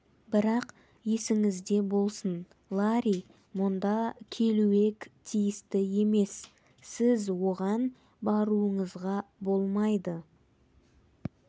бірақ есіңізде болсын ларри мұнда келуег тиіс емес сіз оған баруыңызға болмайды